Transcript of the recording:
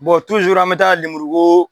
Bɔn tuzuru an bɛ taa lemurukoo